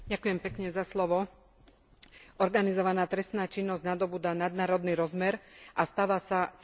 Organizovaná trestná činnosť nadobúda nadnárodný rozmer a stáva sa celosvetovým hospodárskym subjektom.